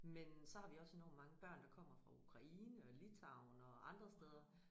Men så har vi også enormt mange børn der kommer fra Ukraine og Litauen og andre steder